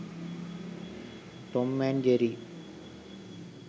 tom and jerry